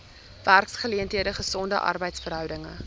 werksgeleenthede gesonde arbeidsverhoudinge